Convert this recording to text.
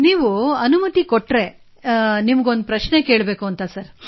ನೀವು ಅನುಮತಿ ನೀಡಿದರೆ ನಿಮಗೆ ಒಂದು ಪ್ರಶ್ನೆ ಕೇಳ ಬಯಸುತ್ತೇನೆ ಸಾರ್